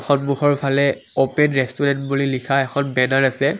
সন্মুখৰফালে open restaurant বুলি লিখা এখন বেনাৰ আছে।